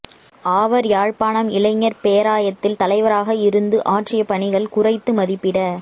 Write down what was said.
ஆவர் யாழ்ப்பாணம் இளைஞர் பேராயத்தில் தலைவராக இருந்து ஆற்றிய பணிகள் குறைத்து மதிப்பிட